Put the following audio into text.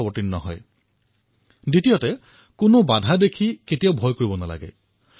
দ্বিতীয়টো গুৰুত্বপূৰ্ণ কথা এয়ে যে যিকোনো ব্যৱধানক লৈ শংকা কৰিব নালাগে